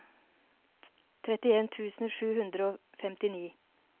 trettien tusen sju hundre og femtini